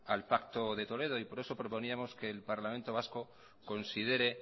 al pacto de toledo y por eso proponíamos que el parlamento vasco considere